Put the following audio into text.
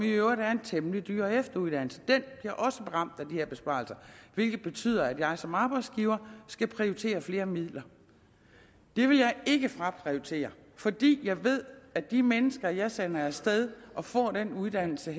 i øvrigt en temmelig dyr efteruddannelse og den bliver også ramt af de her besparelser hvilket betyder at jeg som arbejdsgiver skal prioritere flere midler det vil jeg ikke fraprioritere fordi jeg ved at de mennesker jeg sender af sted og som får den uddannelse